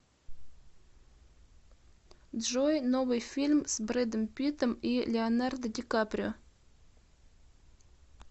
джой новый фильм с бредом питтом и леонардо ди каприо